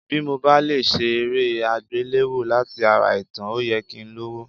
Bí mo bá lè ṣe eré àgbéléwò láti ara ìtàn, ó yẹ kí n lówó.